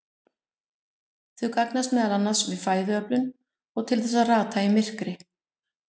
Þau gagnast meðal annars við fæðuöflun og til þess að rata í myrkri.